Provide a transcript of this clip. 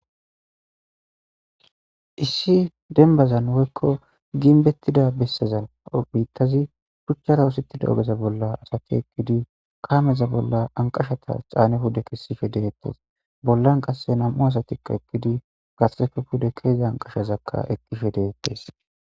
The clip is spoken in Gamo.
issi denbazan woykko ginbettida bessazanbiittazi phuchchara usittida ogeza bolla asati ekkidi kaameza bolla anqashata caane pude kessife dehettees bollan qasse nam7u asatikka ekkidi gasefe pude keeza anqashazakka eqishe dehettes